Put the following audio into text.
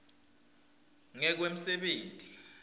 ngekwemsebenti